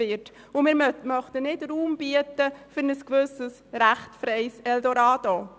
– Wir möchten nicht den Raum bieten für ein gewisses rechtsfreies Eldorado.